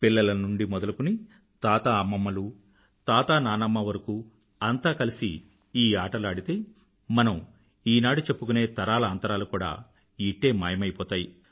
పిల్లల నుండీ మొదలుకుని తాతాఅమ్మమ్మలూ తాతానాన్నమ్మా వరకూ అంతా కలిసి ఈ ఆటలు ఆడితే మనం ఈనాడు చెప్పుకునే తరాల అంతరాలు కూడా ఇట్టే మాయమైపోతాయి